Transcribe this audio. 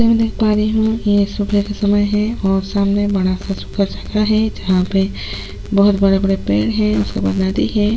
जैसा की में देख पा रही हूं ये सुबह का समय है और सामने बड़ा सा जगह है जहां पे बहुत बड़े बड़े पेड़ है उसके बाद नदी है।